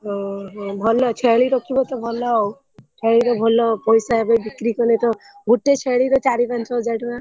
ଓହୋ ଭଲ ଛେଳି ରଖିବତ ଭଲ ଆଉ ସବୁଠୁ ଭଲ ପଇସା ଏବେତ ବିକ୍ରି କଲେ ତ ଗୋଟେ ଛେଳିର ଚାରି ପାଞ୍ଚ ହଜାର ଟଙ୍କା।